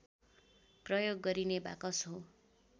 प्रयोग गरिने बाकस हो